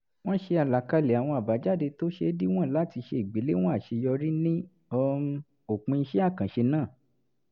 wọ́n ṣe àlàkalẹ̀ àwọn àbájáde tó ṣeé díwọ̀n láti ṣe ìgbèléwọ̀n àṣeyọrí ní um òpin iṣẹ́ àkànṣe náà